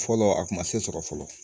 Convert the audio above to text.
Fɔlɔ a kun ma se sɔrɔ fɔlɔ